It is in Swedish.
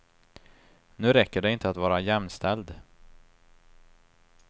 Nu räcker det inte att vara jämställd.